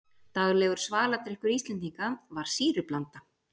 daglegur svaladrykkur íslendinga var sýrublanda